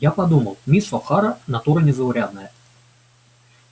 я подумал мисс охара натура незаурядная